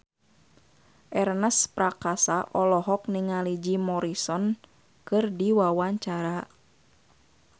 Ernest Prakasa olohok ningali Jim Morrison keur diwawancara